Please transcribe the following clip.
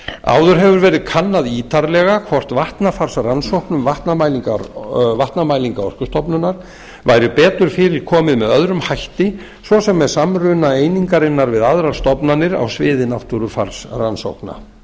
áður hefur verið kannað ítarlega hvort vatnafarsrannsóknum vatnamælinga orkustofnunar væri betur fyrir komið með öðrum hætti svo sem með samruna einingarinnar við aðrar stofnanir á sviði náttúrufarsrannsókna